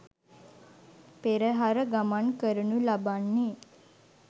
පෙරහර ගමන් කරනු ලබන්නේ